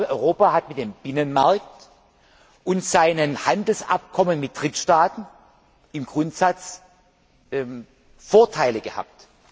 Europa hat mit dem Binnenmarkt und seinen Handelsabkommen mit Drittstaaten im Grundsatz Vorteile gehabt.